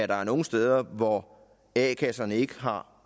der er nogle steder hvor a kasserne ikke har